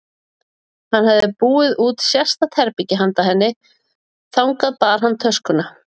Hann hafði búið út sérstakt herbergi handa henni og þangað bar hann töskuna.